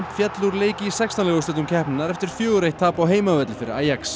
féllu úr leik í sextán liða úrslitum keppninnar eftir fjórar til eitt tap á heimavelli fyrir